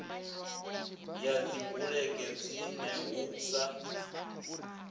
ya dzibulege dzine hu sa